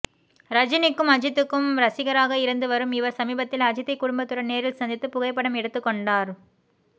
ரஜினிக்கும் அஜித்துக்கும் ரசிகராக இருந்து வரும் இவர் சமீபத்தில் அஜித்தை குடும்பத்துடன் நேரில் சந்தித்து புகைப்படம் எடுத்து கொண்டார்